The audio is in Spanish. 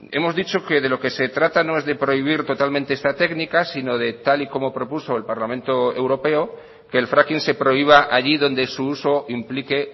hemos dicho que de lo que se trata no es de prohibir totalmente esta técnica sino de tal y como propuso el parlamento europeo que el fracking se prohíba allí donde su uso implique